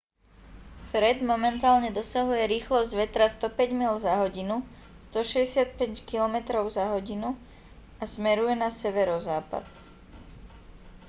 fred momentálne dosahuje rýchlosť vetra 105 míľ za hodinu 165 km/h a smeruje na severozápad